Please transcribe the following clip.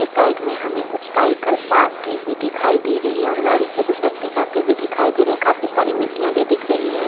इस साइड पे हमें कुछ साइकिल पार्क की हुई दिखाई दे रही है और गाड़ी से कुछ व्यक्ति जाते हुए दिखाई दे रहे है काफी सारी मिट्टिया भी दिख रही है।